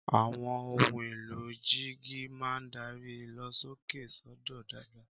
Àwọn ohun èlò jíìgì máa ń darí ìlọ̀sókè sódò dáadáa